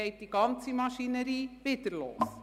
Dann geht die ganze Maschinerie wieder los.